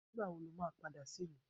Ngbà wọ̀ ní ọ máa padà sí ìlú?